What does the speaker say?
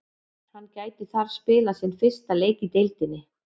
Hann gæti þar spilað sinn fyrsta leik í deildinni.